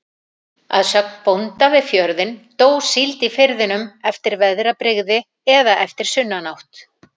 Að sögn bónda við fjörðinn, dó síld í firðinum eftir veðrabrigði eða eftir sunnanátt.